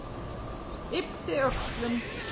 Yppti öxlum.